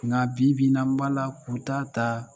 Nka bibi in na n b'a la k'u ta ta